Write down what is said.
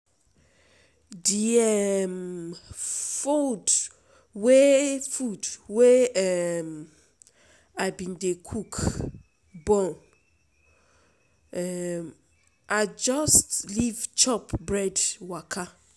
Di um food wey food wey um I bin dey cook burn, um I just leave chop bread waka.